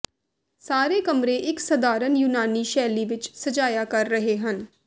ਸਾਰੇ ਕਮਰੇ ਇੱਕ ਸਧਾਰਨ ਯੂਨਾਨੀ ਸ਼ੈਲੀ ਵਿਚ ਸਜਾਇਆ ਕਰ ਰਹੇ ਹਨ